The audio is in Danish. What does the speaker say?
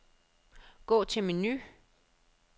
Gå til menu.